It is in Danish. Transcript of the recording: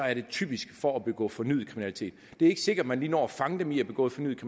er det typisk for at begå fornyet kriminalitet det er ikke sikkert at man lige når at fange dem i at begå fornyet